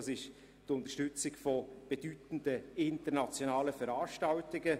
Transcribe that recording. Das ist hier die Unterstützung von bedeutenden internationalen Veranstaltungen.